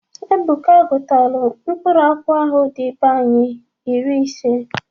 Ebuka gutalụ mkpụrụ akwụ ahụ dị be anyi iri ise.